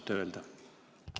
Oskate öelda?